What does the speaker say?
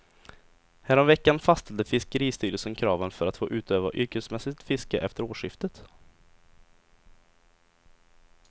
Häromveckan fastställde fiskeristyrelsen kraven för att få utöva yrkesmässigt fiske efter årsskiftet.